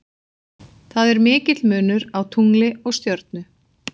Það er mikill munur á tungli og stjörnu.